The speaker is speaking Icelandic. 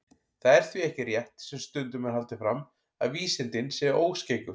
Það er því ekki rétt, sem stundum er haldið fram, að vísindin séu óskeikul.